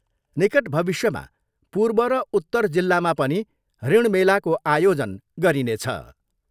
निकट भविष्यमा पूर्व र उत्तर जिल्लामा पनि ऋण मेलाको आयोजन गरिनेछ।